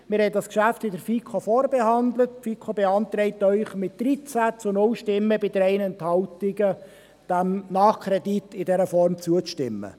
Wir haben dieses Geschäft in der FiKo vorbehandelt, und die FiKo beantragt Ihnen mit 13 zu 0 Stimmen bei 3 Enthaltungen, diesem Nachkredit in dieser Form zuzustimmen.